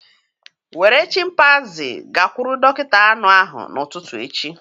Were chimpanzee gakwuru dọkịta anụ ahụ n'ụtụtụ echi